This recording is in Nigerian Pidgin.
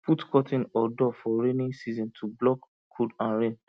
put curtain or door for rainy season to block cold and rain